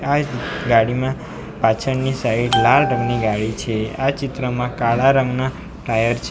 આ એક ગાડીમાં પાછળની સાઈડ લાલ રંગની ગાડી છે આ ચિત્રમાં કાળા રંગના ટાયર છે.